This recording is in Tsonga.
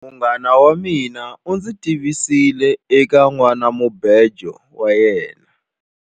Munghana wa mina u ndzi tivisile eka nhwanamubejo wa yena.